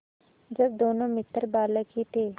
जब दोनों मित्र बालक ही थे